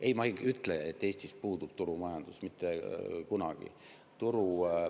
Ei, ma ei ütle, et Eestis puudub turumajandus, mitte kunagi.